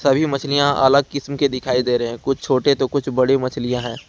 सभी मछलियां अलग किस्म के दिखाई दे रहे हैं कुछ छोटे तो कुछ बड़ी मछलियां है।